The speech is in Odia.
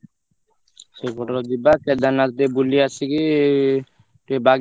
ସେଇପଟର ଯିବା କେଦାରନାଥ ଟିକେ ବୁଲି ଆସିକି ଟିକେ ବାଗେଶ୍ଵର ଧାମ ଟିକେ ଯିବା।